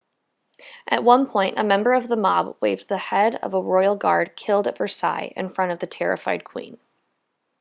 at one point a member of the mob waved the head of a royal guard killed at versailles in front of the terrified queen